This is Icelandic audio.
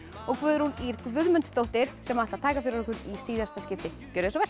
og Guðrún Ýr Guðmundsdóttir sem ætla að taka fyrir okkur í síðasta skipti gjörið svo vel